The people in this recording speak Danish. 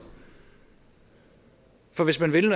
for hvis man vil